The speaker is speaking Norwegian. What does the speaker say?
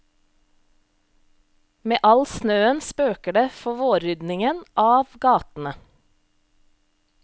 Med all snøen spøker det for vårryddingen av gatene.